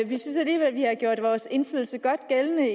vi synes alligevel vi har gjort vores indflydelse godt gældende